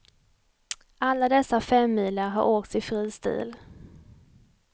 Alla dessa femmilar har åkts i fri stil.